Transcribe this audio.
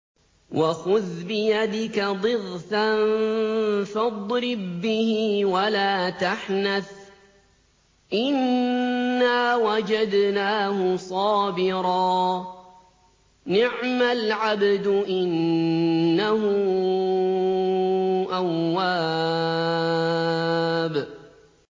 وَخُذْ بِيَدِكَ ضِغْثًا فَاضْرِب بِّهِ وَلَا تَحْنَثْ ۗ إِنَّا وَجَدْنَاهُ صَابِرًا ۚ نِّعْمَ الْعَبْدُ ۖ إِنَّهُ أَوَّابٌ